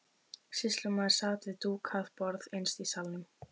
Sýslumaður sat við dúkað borð innst í salnum.